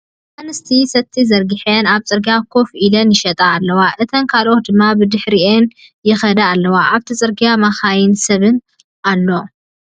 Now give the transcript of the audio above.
ኣንስቲ ሰቲ ዘርጊሐን ኣብ ፅርጊያ ኮፍ ኢለን ይሸጣ ኣለዋ። እተን ካልኦት ድማ ብድሕሪአን ይከዳ ኣለዋ ኣብቲ ፅርግያ መካይንን ሰብን ኣሎ።